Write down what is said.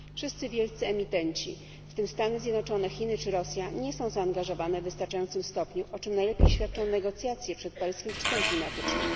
Wszyscy wielcy emitenci, w tym Stany Zjednoczone, Chiny czy Rosja, nie są zaangażowane w wystarczającym stopniu, o czym najlepiej świadczą negocjacje przed paryskim szczytem klimatycznym.